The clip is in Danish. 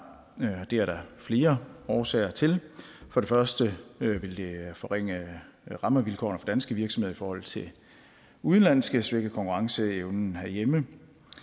det er der flere årsager til for det første vil det forringe rammevilkårene for danske virksomheder i forhold til udenlandske og svække konkurrenceevnen herhjemme